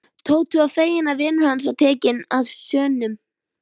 Tóti var feginn að vinur hans hafði tekið sönsum.